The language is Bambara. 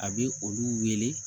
A bɛ olu wele